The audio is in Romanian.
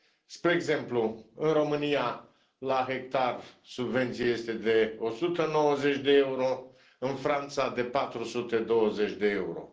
Spre exemplu, în România, la hectar, subvenția este de 190 de euro, în Franța, de 420 de euro.